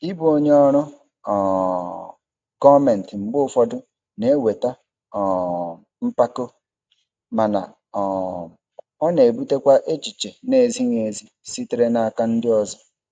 Ịbụ onye ọrụ um gọọmentị mgbe ụfọdụ na-eweta um mpako, mana um ọ na-ebutekwa echiche na-ezighị ezi sitere n'aka ndị ọzọ.